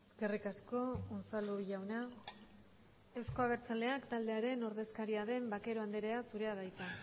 eskerrik asko unzalu jauna eusko abertzalea taldearen ordezkaria den vaquero anderea zurea da hitza